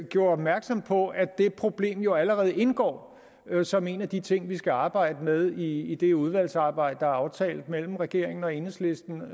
gjorde opmærksom på nemlig at det problem jo allerede indgår som en af de ting vi skal arbejde med i det udvalgsarbejde der er aftalt mellem regeringen og enhedslisten